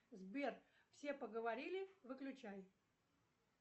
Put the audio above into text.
сбер все поговорили выключай